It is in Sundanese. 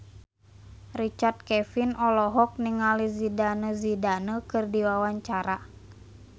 Richard Kevin olohok ningali Zidane Zidane keur diwawancara